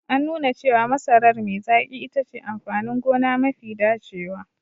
An nuna cewa masarar me zaƙi itace amfanin gona mafi dacewa.